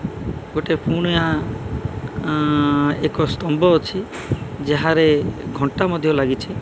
ଗୋଟେ ପୁନିଆ ଆଁ ଏକ ସ୍ତମ୍ବ ଅଛି ଯାହାରେ ଘଣ୍ଟା ମଧ୍ୟ ଲାଗିଛି।